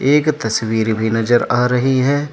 एक तस्वीर भी नजर आ रही है।